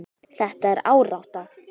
Þetta er árátta.